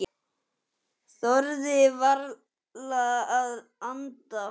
Þorðu varla að anda.